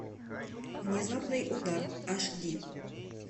внезапный удар аш ди